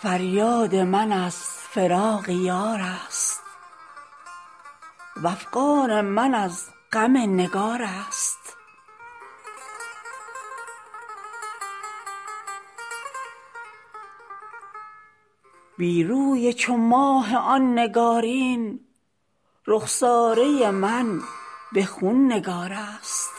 فریاد من از فراق یار است وافغان من از غم نگار است بی روی چو ماه آن نگارین رخساره من به خون نگار است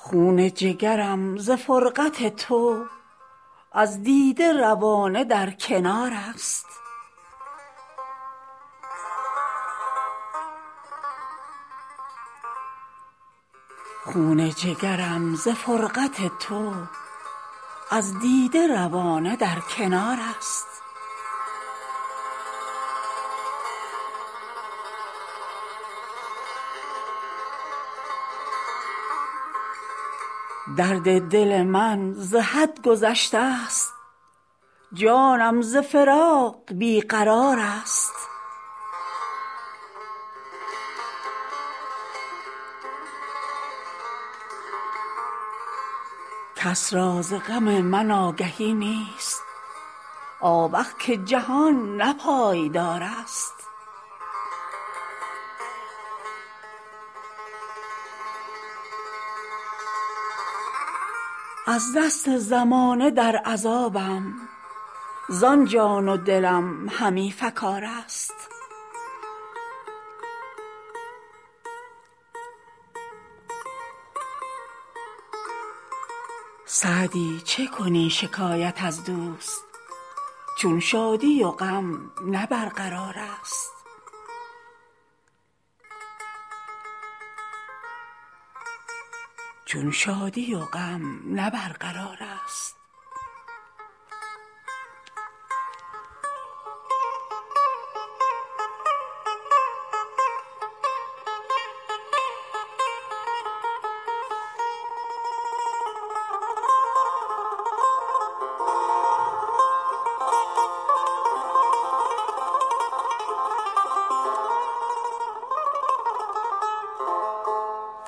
خون جگرم ز فرقت تو از دیده روانه در کنار است درد دل من ز حد گذشته ست جانم ز فراق بی قرار است کس را ز غم من آگهی نیست آوخ که جهان نه پایدار است از دست زمانه در عذابم زان جان و دلم همی فکار است سعدی چه کنی شکایت از دوست چون شادی و غم نه برقرار است